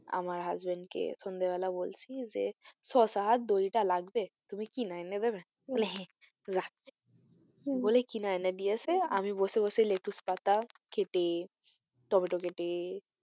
আমার husband কে সন্ধ্যা বেলা বলছি যে শসা আর দইটা লাগবে তুমি কিনে এনে দেবে? বলে হ্যাঁ যাচ্ছি হম বলে কিনে এনে দিয়েছে আমি বসে বসে লেটুস পাতা কেটে টম্যাটো কেটে,